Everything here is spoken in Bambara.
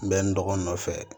N bɛ n dɔgɔnin nɔfɛ